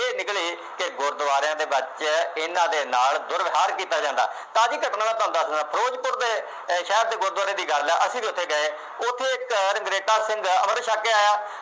ਇਹ ਨਿਕਲੀ ਕਿ ਗੁਰਦੁਆਰਿਆਂ ਦੇ ਵਿੱਚ ਇਨ੍ਹਾ ਦੇ ਨਾਲ ਦੁਰਵਿਹਾਰ ਕੀਤਾ ਜਾਂਦਾ। ਤਾਜ਼ੀ ਘਟਨਾ ਮੈਂ ਤੁਹਾਨੂੰ ਦੱਸਦਾਂ, ਫਿਰੋਜ਼ਪੁਰ ਦੇ ਅਹ ਸ਼ਹਿਰ ਅਤੇ ਗੁਰਦੁਆਰੇ ਦੀ ਗੱਲ ਹੈ, ਅਸੀਂ ਵੀ ਉੱਥੇ ਗਏ। ਉੱਥੇ ਇੱਕ ਰੰਘਰੇਟਾ ਸਿੰਘ ਅੰਮ੍ਰਿਤ ਛੱਕ ਕੇ ਆਇਆ।